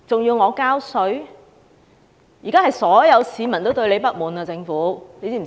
現時所有市民都對政府不滿，知道嗎？